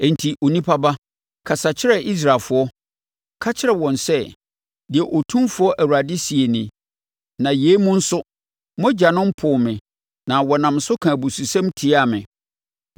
“Enti, onipa ba, kasa kyerɛ Israelfoɔ, ka kyerɛ wɔn sɛ, ‘Deɛ Otumfoɔ Awurade seɛ nie: Na yei mu nso, mo agyanom poo me na wɔnam so kaa abususɛm tiaa me: